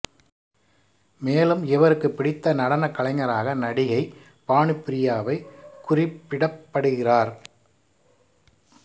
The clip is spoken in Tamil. மேலும் இவருக்கு பிடித்த நடனக் கலைஞராக நடிகை பானுப்பிரியாவைக் குறிப்பிடப்பிடுகிறார்